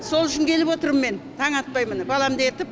сол үшін келіп отырм мен таң атпай міне баламды ертіп